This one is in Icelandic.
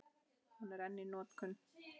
Hún er enn í notkun.